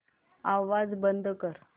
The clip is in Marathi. आवाज बंद कर